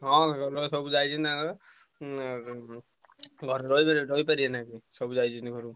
ହଁ ଘର ଲୋକ ସବୁ ଯାଇଛନ୍ତି ତାଙ୍କର ଉଁ ଉଁ ଘରେ ରହିପାରିବେ ରହିପରିବେନା ତାଙ୍କର ସବୁ ଯାଇଛନ୍ତି ଘରୁ।